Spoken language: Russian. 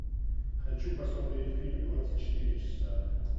хочу посмотреть фильм двадцать четыре часа